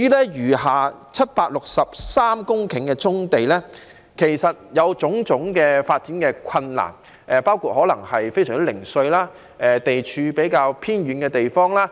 至於餘下763公頃的棕地，在發展上有很多困難，包括非常零碎及地處較偏遠的地方。